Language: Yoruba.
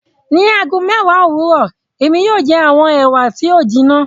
Ní ago mẹ́èwá owurọ, èmi yóò jẹ awọn Ewa ti o jinna